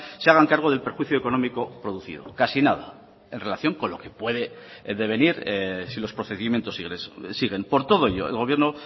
se hagan cargo del perjuicio económico producido casi nada en relación con lo que puede devenir si los procedimientos siguen por todo ello el gobierno